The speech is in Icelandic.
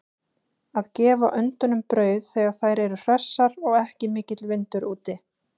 Að gefa öndunum brauð þegar þær eru hressar og ekki mikill vindur úti.